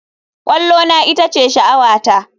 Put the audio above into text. Kwallona ita ce sha'awata.